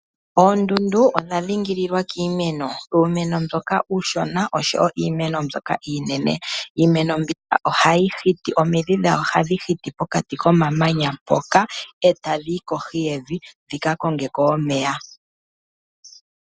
Oondundu odha dhingililwa kiimeno, uumeno mboka uushona oshowo iimeno mbyoka iinene. Iimeno mbika ohayi hiti, omidhi dhayo ohadhi hiti pokati komamanya mpoka, e tadhi yi kohi keyi dhika konge ko omeya.